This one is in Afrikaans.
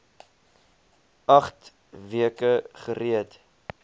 agt weke gereed